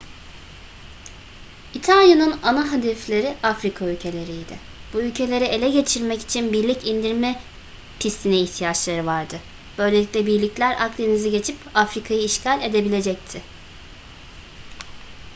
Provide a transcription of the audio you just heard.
i̇talya'nın ana hedefleri afrika ülkeleriydi. bu ülkeleri ele geçirmek için birlik indirme pistine ihtiyaçları vardı böylelikle birlikler akdeniz'i geçip afrika'yı işgal edebilecekti